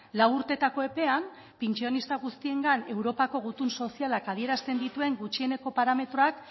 lau urteetako epean pentsionista guztiengan europako gutun sozialak adierazten dituen gutxieneko parametroak